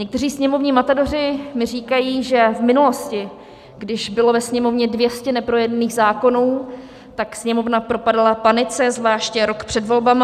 Někteří sněmovní matadoři mi říkají, že v minulosti, když bylo ve Sněmovně 200 neprojednaných zákonů, tak Sněmovna propadala panice, zvláště rok před volbami.